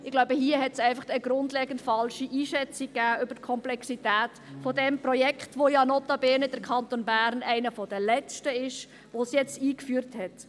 Ich glaube, hier gab es einfach eine grundlegend falsche Einschätzung über die Komplexität dieses Projekts, wobei ja der Kanton Bern notabene einer der letzten ist, der es jetzt eingeführt hat.